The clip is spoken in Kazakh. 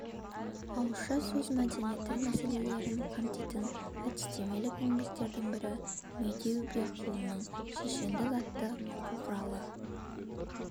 ауызша сөз мәдениеті мәселелерін қамтитын әдістемелік еңбектердің бірі медеубекұлының шешенсөз атты оқу құралы